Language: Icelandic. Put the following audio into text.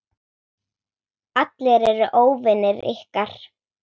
Allir eru óvinir ykkar.